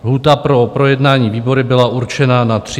Lhůta pro projednání výbory byla určena na 30 dní.